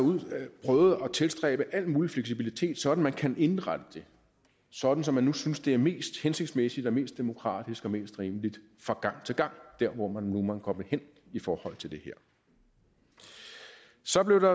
prøvet at tilstræbe al mulig fleksibilitet sådan at man kan indrette det sådan som man nu synes det er mest hensigtsmæssigt og mest demokratisk og mest rimeligt fra gang til gang der hvor man nu måtte gå hen i forhold til det her så blev der